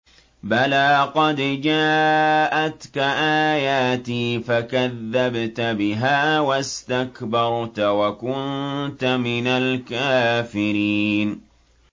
بَلَىٰ قَدْ جَاءَتْكَ آيَاتِي فَكَذَّبْتَ بِهَا وَاسْتَكْبَرْتَ وَكُنتَ مِنَ الْكَافِرِينَ